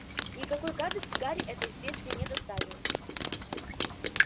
никакой гадости гарри это известие не доставило